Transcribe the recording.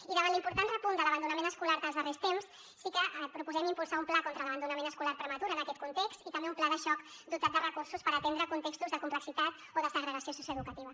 i davant l’important repunt de l’abandonament escolar dels darrers temps sí que proposem impulsar un pla contra l’abandonament escolar prematur en aquest context i també un pla de xoc dotat de recursos per atendre contextos de complexitat o de segregació socioeducativa